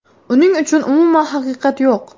Uning uchun umuman haqiqat yo‘q.